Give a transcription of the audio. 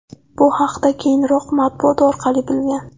Bu haqda keyinroq matbuot orqali bilgan.